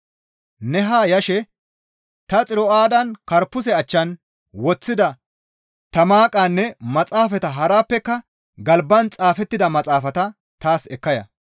Ne haa yashe ta Xiro7aadan Karpuse achchan woththida ta Maaqanne maxaafata harappeka galban xaafettida maxaafata taas ekka ya.